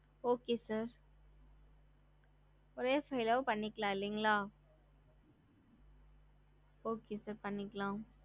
ஹம்